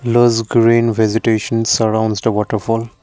lots green vegetation surrounds the waterfall.